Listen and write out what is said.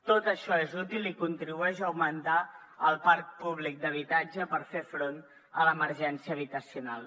tot això és útil i contribueix a augmentar el parc públic d’habitatge per fer front a l’emergència habitacional